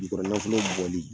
Yirikɔrɔ nafolo bɔli